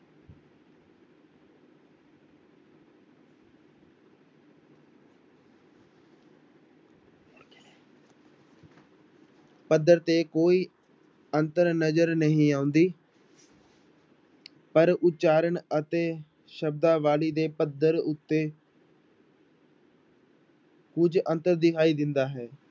ਪੱਧਰ ਤੇ ਕੋਈ ਅੰਤਰ ਨਜ਼ਰ ਨਹੀਂ ਆਉਂਦੀ ਪਰ ਉਚਾਰਨ ਅਤੇ ਸ਼ਬਦਾਵਲੀ ਦੇ ਪੱਧਰ ਉੱਤੇ ਕੁੱਝ ਅੰਤਰ ਦਿਖਾਈ ਦਿੰਦਾ ਹੈ।